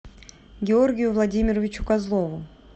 георгию владимировичу козлову